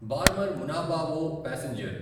Barmer Munabao passenger